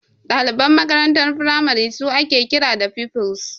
Daliban makarantar firamare su ake kira da Pupils.